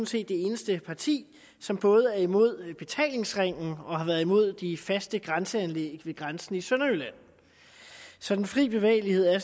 set det eneste parti som både er imod betalingsringen og har været imod de faste grænseanlæg ved grænsen i sønderjylland så den frie bevægelighed er